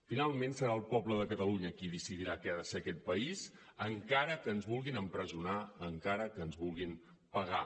finalment serà el poble de catalunya qui decidirà què ha de ser aquest país encara que ens vulguin empresonar encara que ens vulguin pegar